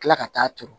Kila ka taa turu